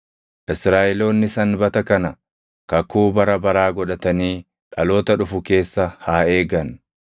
Israaʼeloonni Sanbata kana kakuu bara baraa godhatanii dhaloota dhufu keessa haa eegan.